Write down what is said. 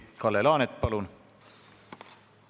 Kalle Laanet, palun!